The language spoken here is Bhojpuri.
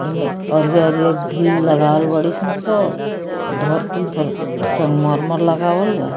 एमे अरिया-अरिया ग्रिल लगावल बाड़ी सन सब आ धरती पर संगमरमर लगावल बा।